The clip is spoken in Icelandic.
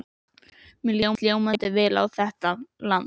Mér líst ljómandi vel á þetta land.